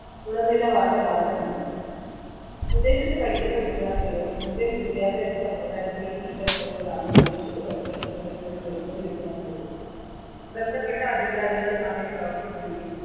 ഗുണനിലാവാര മാനദണ്ഡം വിദേശത്തു പഠിക്കുന്ന വിദ്യാർത്ഥികൾ indian വിദ്യാഭ്യാസ സമ്പ്രദായത്തിലെ ഈ പ്രശ്നങ്ങൾ കാരണം വിദേശത്ത് പഠിക്കാൻ തിരഞ്ഞെടുക്കുന്ന നിരവധി വിദ്യാർത്ഥികളുണ്ട് ബന്ധപ്പെട്ട അധികാരികൾ അതിൽ പ്രവർത്തിക്കുകയും